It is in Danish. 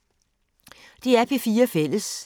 DR P4 Fælles